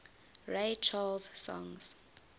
ray charles songs